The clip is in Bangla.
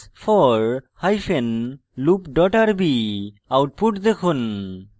ruby space for hyphen loop dot rb output দেখুন